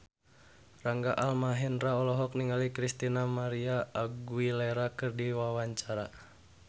Rangga Almahendra olohok ningali Christina María Aguilera keur diwawancara